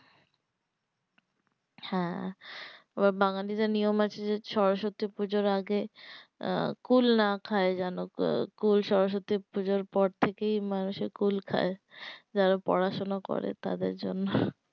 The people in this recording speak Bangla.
হ্যাঁ আবার বাঙালীদের নিয়ম আছে যে সরস্বতী পূজোর আগে আহ কুল না খায় যেনো কুল সরস্বতী পূজোর পর থেকেই মানুষে কুল খায় যারা পোড়াশোনা করে তাদের জন্য